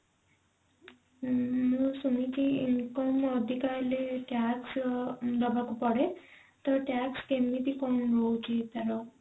ମୁଁ ଶୁଣିଛି income ଅଧିକା ହେଲେ tax ଦବାକୁ ପଡେ ତ tax କେମିତି କଣ ରହୁଛି ତାର?